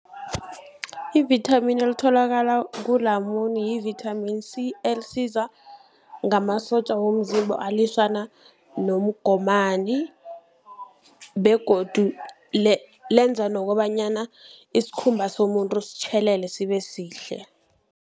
Ivithamini elitholakala kulamune yi-vitamin C, elisiza ngamasotja womzimba alwisana nomgomani begodu lenza nokobanyana isikhumba somuntu sitjhelele sibe sihle.